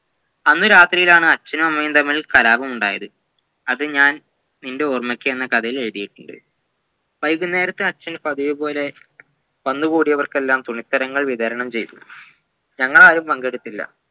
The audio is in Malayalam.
ആന്ന് രാത്രിയാണ് അച്ഛനും അമ്മയും തമ്മിൽ കലാപമുണ്ടായത് അത് ഞാൻ നിൻ്റെ ഓർമ്മയ്ക്ക് എന്ന കഥയിലെഴുതീട്ടുണ്ട് വൈകുന്നേരത്ത് അച്ഛൻ പതിവുപോലെ വന്നുകൂടിയവർക്കെല്ലാം തുണിത്തരങ്ങൾ വിതരണം ചെയ്‌തു ഞങ്ങാളാരും പങ്കെടുത്തില്ല